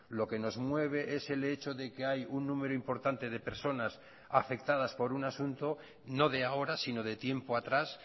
lo que nos mueve es el hecho de que hay un número importante de personas afectadas por un asunto no de ahora sino de tiempo atrás